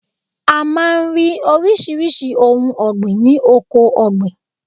A máa ń rí oríṣiríṣi ohun ọ̀gbìn ni oko ọ̀gbìn.